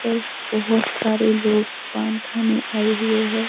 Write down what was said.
पर बहोत सारे लोग पान खाने आए हुए हैं।